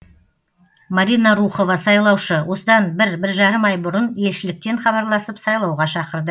марина рухова сайлаушы осыдан бір бір жарым ай бұрын елшіліктен хабарласып сайлауға шақырды